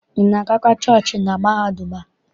Ị na-agakwa chọọchị na mahadum a?